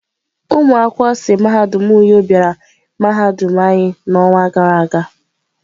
Ụmụ akwụkwọ si mahadum uyo bịara mahadum anyi n'ọnwa gara aga.